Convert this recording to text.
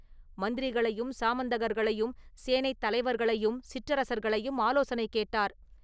மந்திரிகளையும், சாமந்தகர்களையும், சேனைத் தலைவர்களையும், சிற்றரசர்களையும் ஆலோசனை கேட்டார்.